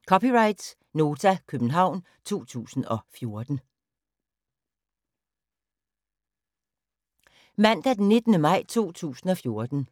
Mandag d. 19. maj 2014